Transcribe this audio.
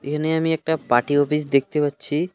এখানে আমি একটা পার্টি অফিস দেখতে পাচ্ছি .